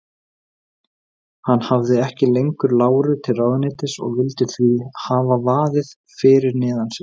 Hann hafði ekki lengur láru til ráðuneytis og vildi því hafa vaðið fyrir neðan sig.